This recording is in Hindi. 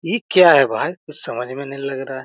ये क्या है भाई कुछ समझ में नहीं लग रहा है।